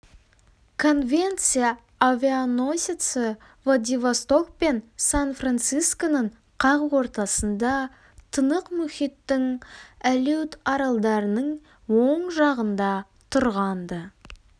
конвенция авианосеці владивосток пен сан-францисконың қақ ортасында тынық мұхиттың алеут аралдарының оң жағында тұрған-ды